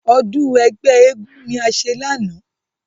Ọdún ẹgbẹ́ eégún ni a ṣe lánàá.